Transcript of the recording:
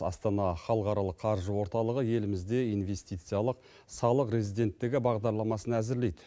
астана халықаралық қаржы орталығы елімізде инвестициялық салық резиденттігі бағдарламасын әзірлейді